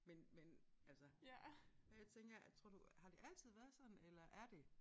Men men altså og jeg tænker er tror du har det altid været sådan eller er det